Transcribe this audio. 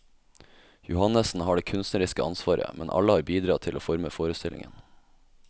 Johannessen har det kunstneriske ansvaret, men alle har bidratt til å forme forestillingen.